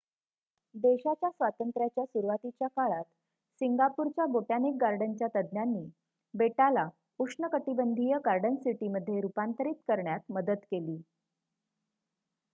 देशाच्या स्वातंत्र्याच्या सुरुवातीच्या काळात सिंगापूरच्या बोटॅनिक गार्डनच्या तज्ज्ञांनी बेटाला उष्णकटिबंधीय गार्डन सिटीमध्ये रूपांतरित करण्यात मदत केली